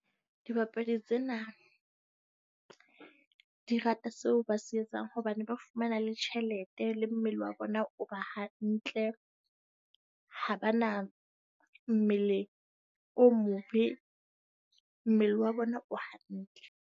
Dibapadi tsena di rata seo ba se etsang hobane ba fumana le tjhelete le mmele wa bona o ba hantle. Ha ba na mmele o mobe, mmele wa bona o hantle.